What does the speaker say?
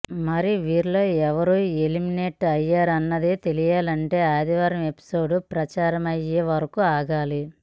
మరి వీరిలో ఎవరు ఎలిమినేట్ అయ్యారన్నది తెలియాలంటే ఆదివారం ఎపిసోడ్ ప్రసారమయ్యే వరకు ఆగాలి